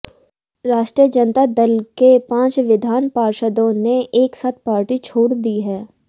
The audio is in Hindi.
राष्ट्रीय जनता दल के पांच विधान पार्षदों ने एक साथ पार्टी छोड़ दी है